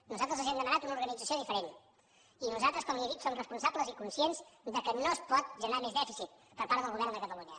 nosaltres els hem demanat una organització diferent i nosaltres com li he dit som responsables i conscients que no es pot generar més dèficit per part del govern de catalunya